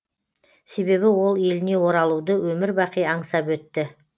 себебі ол еліне оралуды өмір бақи аңсап өтті